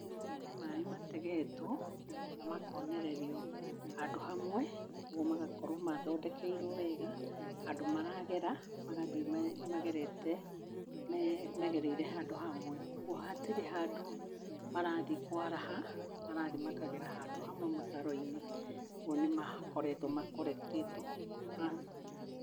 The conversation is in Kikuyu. Nĩ maĩ mategetwo na makonererio handũ hamwe ũguo magakorwo mathondekeirwo wega handũ maragera, magathĩ magerete megereire handũ hamwe. Ũguo hatirĩ handũ marathiĩ kwaraha, marathiĩ makagera handũ hamwe mũtaro-inĩ. Ũgwo nĩmakoretwo makorekitĩtwo.